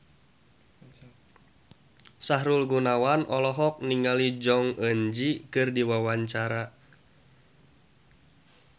Sahrul Gunawan olohok ningali Jong Eun Ji keur diwawancara